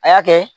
A y'a kɛ